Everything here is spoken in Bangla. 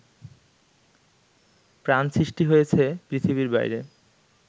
প্রাণ সৃষ্টি হয়েছে পৃথিবীর বাইরে